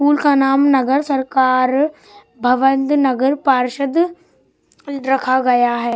School का नाम नगर सरकार भवन नगर पार्षद रखा गया है।